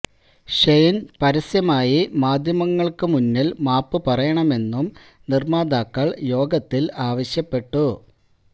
ഷെയ്ന് പരസ്യമായി മാധ്യമങ്ങള്ക്ക് മുന്നില് മാപ്പ് പറയണമെന്നും നിര്മ്മാതാക്കള് യോഗത്തിൽ ആവശ്യപ്പെട്ടു